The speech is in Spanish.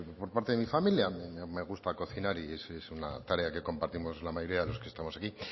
por parte de mi familia me gusta cocinar y es una tarea que compartimos la mayoría de lo que estamos aquí